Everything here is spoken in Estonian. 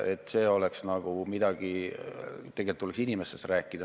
Tegelikult tuleks inimestest rääkida.